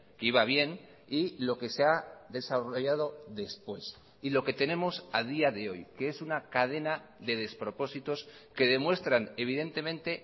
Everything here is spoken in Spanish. que iba bien y lo que se ha desarrollado después y lo que tenemos a día de hoy que es una cadena de despropósitos que demuestran evidentemente